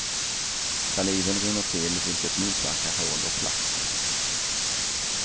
Saliven rinner till, vilket motverkar hål och plack.